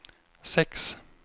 sex